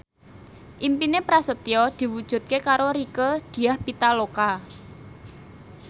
impine Prasetyo diwujudke karo Rieke Diah Pitaloka